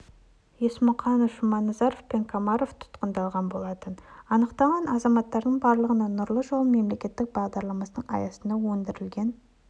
есмұқанов жұманазар мен комаров тұтқындалған болатын аталған азаматтардың барлығына нұрлы жол мемлекеттік бағдарламасының аясында өңірлерде